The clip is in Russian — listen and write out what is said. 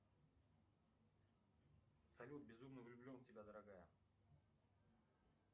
салют безумно влюблен в тебя дорогая